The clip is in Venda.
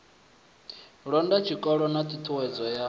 londa zwikolo na ṱhuṱhuwedzo ya